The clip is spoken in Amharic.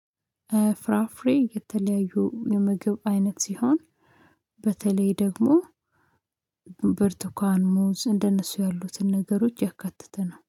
ፍራፍሬ የተለያዩ የምግብ አይነት ሲሆን በተለይ ደግሞ ብርቱካን ሙዝ እንደነሱ ያሉትን ነገሮች ያካትተነው